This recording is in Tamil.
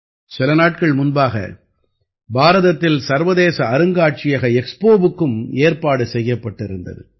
சில நாட்கள் முன்பாக பாரதத்தில் சர்வதேச அருங்காட்சியக எக்ஸ்போவுக்கும் ஏற்பாடு செய்யப்பட்டிருந்தது